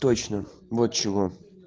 точно вот чего